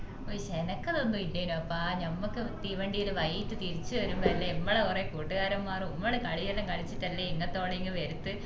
ഉയ് എനക്കതൊന്നും ഇല്ലെന്ആപ്പ ഞമ്മൾക്ക് തീവണ്ടീല് വൈകിറ്റ് തിരിച്ചു വരുമ്പോല്ലേ മ്മളെ കൊറേ കൂട്ടുകാരൻമാറും കളിയെല്ലാം കളിച്ചുട്ടല്ലേ ഇങ്ങാത്തോളം ഇങ് വരുത്ത്